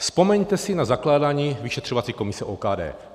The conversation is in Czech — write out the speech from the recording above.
Vzpomeňte si na zakládání vyšetřovací komise OKD.